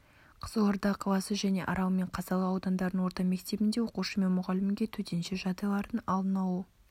қызылорда қаласы және арал мен қазалы аудандарының орта мектебінде оқушы мен мұғалімге төтенше жағдайлардың алдын алу